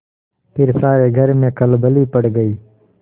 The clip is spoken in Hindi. फिर सारे घर में खलबली पड़ गयी